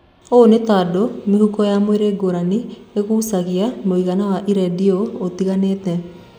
Ũũ nĩ tondũ mĩhuko ya mwĩrĩ ngũrani ĩngucagia mũigana wa iradiyo ũtinganĩte.